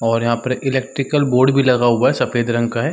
और यहाँ पर एक इलेक्ट्रिकल बोर्ड भी लगा हुआ है सफ़ेद रंग का हैं।